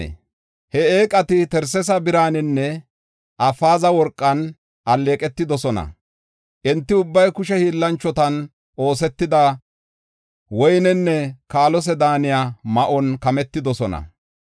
He eeqati Tarsesa biraninne Afeeza worqan alleeqetidosona. Enti ubbay kushe hiillanchotan oosetida woynenne kaalose daaniya ma7uwan kametidosona.